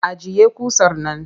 Ajiye ƙusar man!